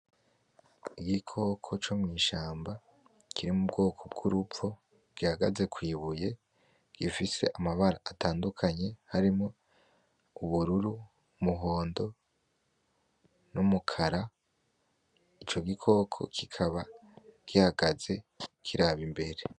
Igikoko co mw'ishamba kiri m'ubwoko bw'uruvo gihagaze kw'ibuye gifise amabara atandukanye harimo: Ubururu; umuhondo; n'umukara. Ico gikoko kikaba gihagaze kiraba imbere.